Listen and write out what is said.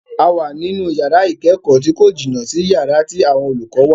A wà ní inú yàrá ìkẹ́kọ̀ọ́ tí kò jìnà sí yàrá tí àwọn olùkọ́ wà.